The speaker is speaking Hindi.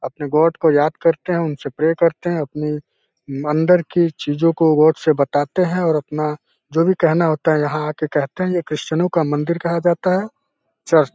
अपने गॉड को याद करते हैं। उनसे प्रे करते हैं। अपनी अंदर की चीजों को गॉड से बताते हैं और अपना जो भी कहना होता है यहाँ आके कहते हैं। ये क्रिस्चियनों का मंदिर कहा जाता है चर्च ।